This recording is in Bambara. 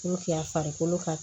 N'o kɛra farikolo ka